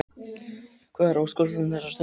Hvað er á óskalistanum þessa stundina?